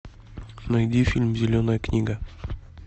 найди фильм зеленая книга